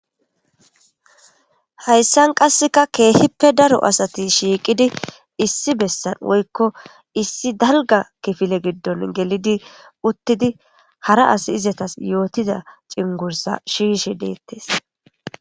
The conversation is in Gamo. Hayssan qasseka keehippe daro asati shiiqidi issi bessan woykko issi dalga kifile giddon gelidi uttidi hara as izatas yootida cingursa shiishe deettes.